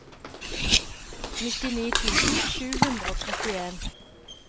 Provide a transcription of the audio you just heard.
nittini tusen sju hundre og trettien